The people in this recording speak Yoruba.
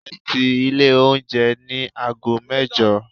Ẹ ti ilé oúnjẹ ní aago mẹ́jọ!